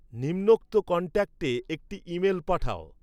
নিম্নোক্ত কন্ট্যাক্টে একটি ইমেল পাঠাও